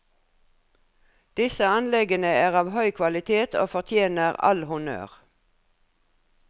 Disse anleggene er av høy kvalitet og fortjener all honnør.